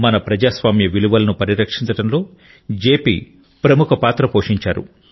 మన ప్రజాస్వామ్య విలువలను పరిరక్షించడంలో జెపి ప్రముఖ పాత్ర పోషించారు